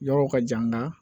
Yɔrɔw ka jan n ka